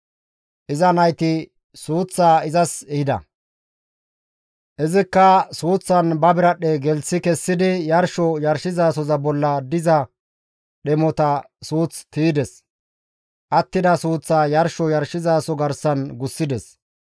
Iza nayti suuththaa izas ehida; izikka suuththaan ba biradhdhe gelththi kessidi yarsho yarshizasoza bolla diza dhemota suuth tiydes; attida suuththaa yarsho yarshizaso garsan gussides.